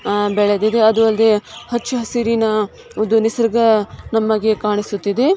ಹಾ ಬೆಳೆದಿದೆ ಅದು ಅಲ್ದೆ ಹಚ್ಚ ಹಸಿರಿನ ಅದು ನಿಸರ್ಗ ನಮಗೆ ಕಾಣಿಸುತ್ತಿದೆ.